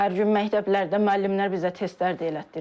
Hər gün məktəblərdə müəllimlər bizə testlər də elətdirirdi.